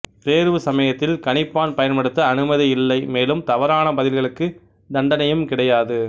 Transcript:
தேர்வு சமயத்தில் கணிப்பான் பயன்படுத்த அனுமதி இல்லை மேலும் தவறான பதில்களுக்கு தண்டனையும் கிடையாது